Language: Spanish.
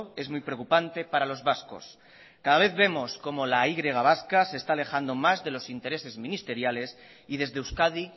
es muy preocupante para los vascos cada vez vemos cómo la y vasca se está alejando más de los intereses ministeriales y desde euskadi